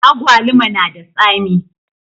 Agwaluma na da tsami